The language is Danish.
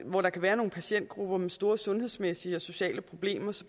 hvor der kan være nogle patientgrupper med store sundhedsmæssige og sociale problemer